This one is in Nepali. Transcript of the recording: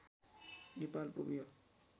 नेपाल पुग्यो